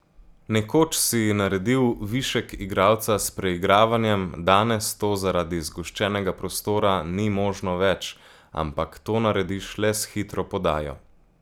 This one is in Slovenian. Nekoč si naredil višek igralca s preigravanjem, danes to zaradi zgoščenega prostora ni možno več, ampak to narediš le s hitro podajo.